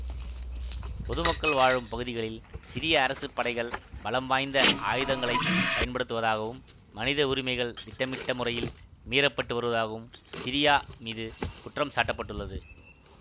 பொதுமக்கள் வாழும் பகுதிகளில் சிரிய அரசு படைகள் பலம் வாய்ந்த ஆயுதங்களை பயன்படுத்துவதாகவும் மனித உரிமைகள் திட்டமிட்ட முறையில் மீறப்பட்டு வருவதாகவும் சிரியா மீது குற்றம் சாட்ட பட்டுள்ளது